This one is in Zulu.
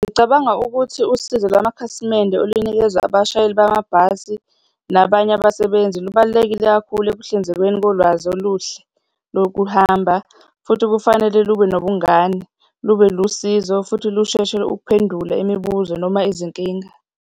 Ngicabanga ukuthi usizo lwamakhasimende olunikezwa abashayeli bamabhasi nabanye abasebenzi, lubalulekile kakhulu ekuhlinzekweni kolwazi oluhle lokuhamba, futhi kufanele lube nobungane, lube lusizo, futhi lusheshe ukuphendula imibuzo noma izinkinga.